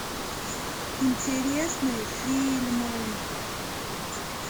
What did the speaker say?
интересные фильмы